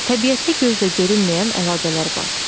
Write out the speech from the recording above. Təbiətdə gözlə görünməyən əlaqələr var.